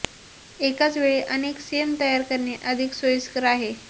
एकाच वेळी अनेक सेम तयार करणे अधिक सोयीस्कर आहे